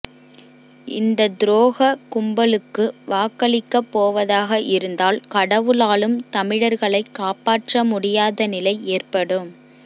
இந்த துரோக கும்பலுக்கு வாக்களிக்கப் போவதாக இருந்தால் கடவுளாலும் தமிழர்களை காப்பாற்ற முடியாத நிலை ஏற்படும்